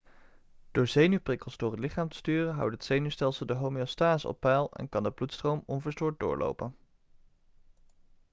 door zenuwprikkels door het lichaam te sturen houdt het zenuwstelsel de homeostase op peil en kan de bloedstroom onverstoord doorlopen